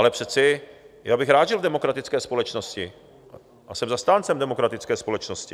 Ale přece já bych rád žil v demokratické společnosti a jsem zastáncem demokratické společnosti.